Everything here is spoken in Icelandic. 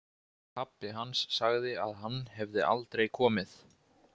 Pabbi hans sagði að hann hefði aldrei komið.